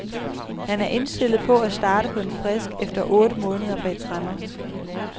Han er indstillet på at starte på en frisk efter otte måneder bag tremmer.